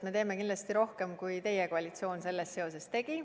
Me teeme kindlasti rohkem, kui teie koalitsioon selles seoses tegi.